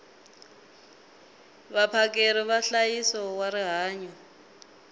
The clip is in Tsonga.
vaphakeri va nhlayiso wa rihanyo